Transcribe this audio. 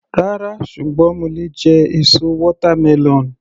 Rárá, ṣùgbọ́n mo lè jẹ èso watermelon.